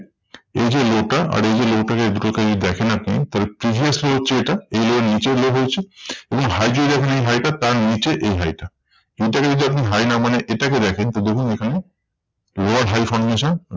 এই যে low টা আর এই যে low টা কে দেখেন আপনি তাহলে previous low এর চেয়ে এটা এই level নিচে low হয়েছে। এবং high যদি দেখেন এই high টা তার নিচে এই high টা। এটাকে যদি আপনি high না মানেন এটাকে দেখেন তো দেখুন এখানে lower high formation.